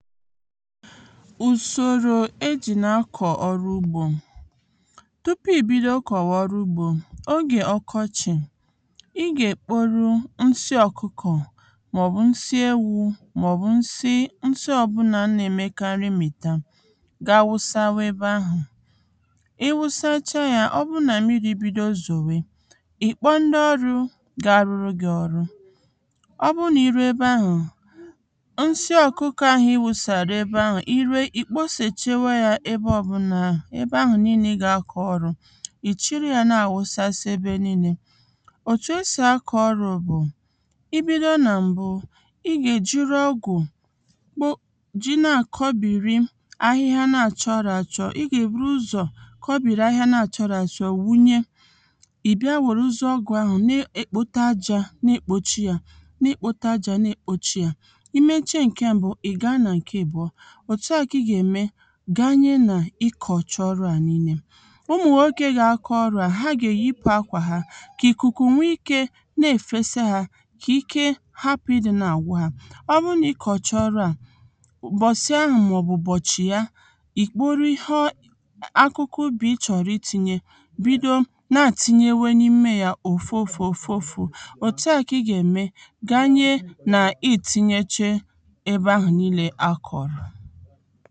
ùsòrò e jị̀ na-akọ̀ ọrụ ugbō tupu ì bido kòwa ọrụ ugbō ogè ọkọchị ị gà-èkporu nsi ọkukọ̀ mà ọ̀ bù nsi ewū mà ọ̀ bù nsi nsi ọbụla na-emekarị mmìta ga-awusanwu ebe ahụ̀ ị wụsacha yā ọ bu nà mmirī zòwe ị kpọ ndị ọrụ̄ ga-arụrụ gị ọrụ̄ ọ bụ nà iruo ebe ahụ̀ nsị ọkukọ ị wùsàrà ebe ahụ̀ ị rue ị kposèchewe ya ebe ọ bunà ebe ahụ̀ nille ị gà akọ ọrụ̄ ị chịrị ya na-àwusasi ebe nille otù e sì akọ̀ ọrụ bu ị bido nà m̀bụ ị gà e jịrị ọgwụ kpo jị na-àkọbịrị ahịhịa a nā chọ́rọ̄ àchọ ị gà èbụrụ ụzọ kọbịrị ahịhịa a nā chọrọ achọ wunye ị bịa werezie ọgwụ̀ ahụ̀ na e e kpote ajā nā èkpochi yā na e kpote ajā nā èkpochi yā ị mechee ǹke m̀bụ ị ga nà ǹke àbụọ òtu a kà ị gà-ème ga nye nà ị kọ̀cha ọrụ à nille ụmụ nwoke ga-akọ ọrụ a ha gà eyipu akwà ha kà ị̀kụ̀kụ̀ nwe ikē na-èfesa ha kà ike hapu ịdị na-àgwụ ha ọ bụ na ị kọ̀cha ọrụ̄ a ụ̀bọ̀sị ahụ̀ mà ọ̀ bụ̀ ụ̀bọchị̀ ya ị kpori ịhe o akụkụ ụbị ị chọ̀rọ̀ ị tinye bido nà à tịnyewe n’imē ya òfu òfu òfu òfu òtua kà ị gà ème ga nye nà ị tịnyeche ebe ahụ̀ nille a kọrọ